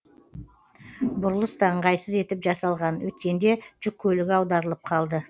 бұрылыс та ыңғайсыз етіп жасалған өткенде жүк көлігі аударылып қалды